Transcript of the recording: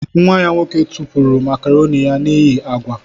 Nwa ya nwoke tụpụrụ makaroni ya n'ihi agwa.